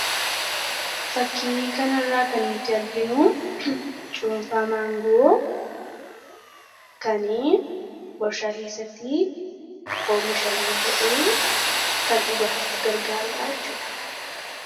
Fakkii kana irraa kan nuti arginu cuunfaa maangoo kan warshaa keessatti oomishamee ba'ee kan dhugaatiif gargaaru jechuudha.